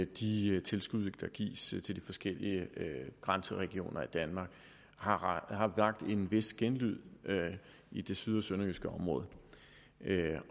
de tilskud der gives til de forskellige grænseregioner i danmark har vakt en vis genlyd i det syd og sønderjyske område